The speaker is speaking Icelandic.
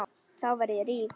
Þá verð ég rík.